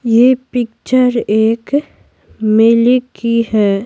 ये पिक्चर एक मेले की है।